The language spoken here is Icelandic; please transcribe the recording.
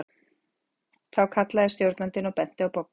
Þú kallaði stjórnandinn og benti á Boggu.